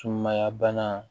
Sumaya bana